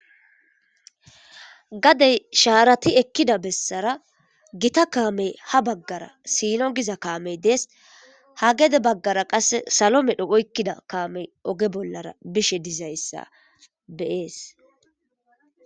gadey shaarati ekkida bessara gita kaamey ha baggara sino giza kaamey dees ha gede baggara qasse salo medho oykkida kaamey oge bollara bishe dizayssa be'es